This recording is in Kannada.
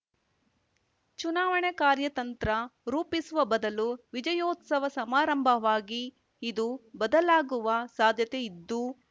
ಚುನಾವಣೆ ಕಾರ್ಯತಂತ್ರ ರೂಪಿಸುವ ಬದಲು ವಿಜಯೋತ್ಸವ ಸಮಾರಂಭವಾಗಿ ಇದು ಬದಲಾಗುವ ಸಾಧ್ಯತೆಯಿದ್ದು